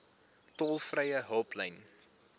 tolvrye hulplyn